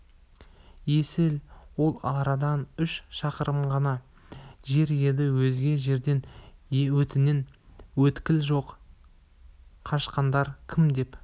есіл ол арадан үш шақырым ғана жер еді өзге жерде өтетін өткел жоқ қашқандар кім деп